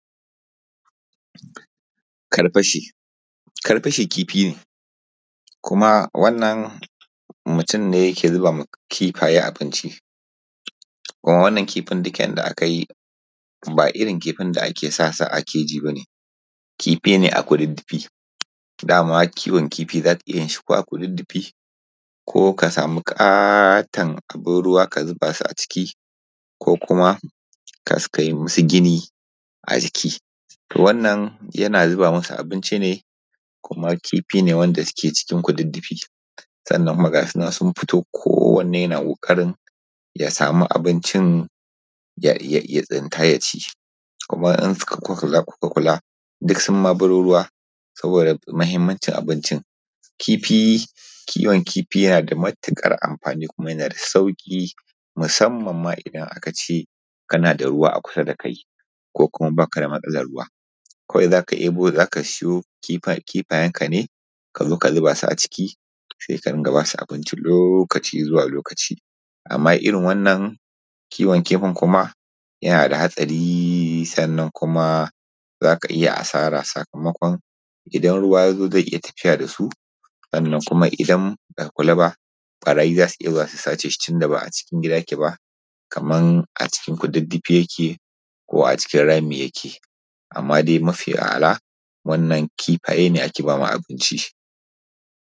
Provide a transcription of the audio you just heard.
Karfashe kifi ne, kuma wannan mutum ne yana zuba ma kifaye abinci kuma wannan kifin duk yadda ake yi ba irin kifin da ake sa shi a keji ba ne kifi ne a kududdufi. Dama ana iya yin shi ko a kududdufi ko ka samu katon abun ruwa ka sa shi a ciki, konkuma kai yi musu gini a ciki. Wannan yana zuba musu abinci ne kuma kifi ne wanda yake cikin kududdufi sannnan kuma ga su nan sun furo kowanne na ƙoƙarin ya samu abinci ya tsinta ya ci. Kima idan kuka kula kuka kula duk sun ma baro ruwa saboda mahimmancin abinci. Kiwon kifi yana da matuƙar amfani kuma yana da sauki musamman ma idan aka ce kana da ruwa a kisa da kai ko ba ka da matsalar ruwa. Kawai za ka sayo kifayenka ne ka zuba su a ciki lokaci zuwa lokaci. Amma irin wannan kiwon kifin yana da hatsari kuma za ka iya asara saka makon idan ruwa ya zo zai iya tafiya da su, idan ba ka kula ba ɓarayi za su iya zuwa su sace shi tunda ba a kulle yake ba kamar a cikin kududdufi yake ko a cikin rami yake. Amma dai mafi a'ala wannan kifaye ne ake ba ma abinci.